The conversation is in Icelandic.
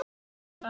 Þín, Anna.